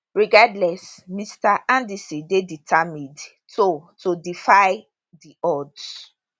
regardless mr anderson dey determined to to defy di odds